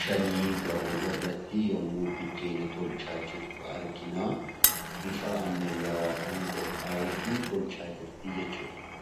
shan gahu irratti yemmuu biddeena tolchaa jirtu argina. Bifa ammayyawaadhaan qophaa'efi tolchaa jirti jechuudha.